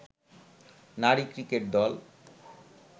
নারী ক্রিকেট দল